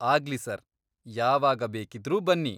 ಆಗ್ಲಿ ಸರ್, ಯಾವಾಗ ಬೇಕಿದ್ರೂ ಬನ್ನಿ.